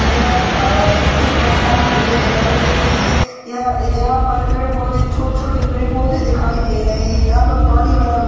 काला है इसमे बहोत सारी बिल्डिंग दिखाई दे रही हैं यहाँ यहाँ पर पेड़-पौधे छोटे-छोटे पेड़-पौधे दिखाई दे रहे हैं यहाँ पर पानी भरा हु --